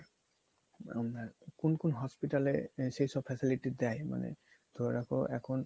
কোন কোন hospital এ সেসব facility দেয় মানে ধরে রাখো এখন